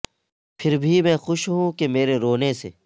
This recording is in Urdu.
پھر بھی میں خوش ہوں کہ مرے رونے سے